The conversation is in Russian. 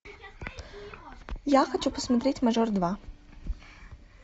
я хочу посмотреть мажор два